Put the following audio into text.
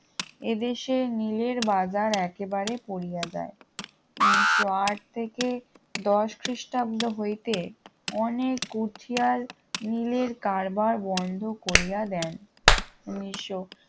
এদেশে নীলের বাজার একেবারে পড়িয়া যায় উনিশশো আট থেকে দশ খ্রিস্টাব্দ হইতে অনেক কুঠিয়াল নীলের কারবার বন্ধ করিয়া দেন উনিশশো